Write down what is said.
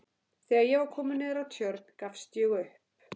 Þegar ég var kominn niður að Tjörn gafst ég upp.